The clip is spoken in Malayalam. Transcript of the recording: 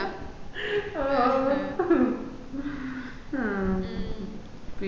മ്മ് ഓ ഓ ആഹ് പിന്നാ